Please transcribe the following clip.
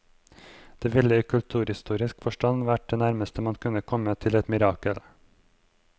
Det ville i kulturhistorisk forstand vært det nærmeste man kunne komme til et mirakel.